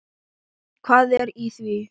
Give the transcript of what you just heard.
Hvað er í því?